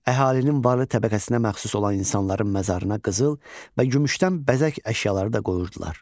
Əhalinin varlı təbəqəsinə məxsus olan insanların məzarına qızıl və gümüşdən bəzək əşyaları da qoyurdular.